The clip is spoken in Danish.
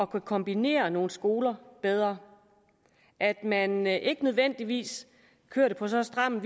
kombinere nogle skoler bedre at man ikke nødvendigvis kører det på så stram en